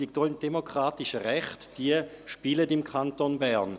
Die demokratischen Rechte spielen also im Kanton Bern.